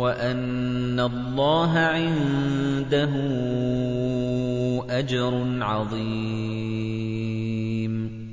وَأَنَّ اللَّهَ عِندَهُ أَجْرٌ عَظِيمٌ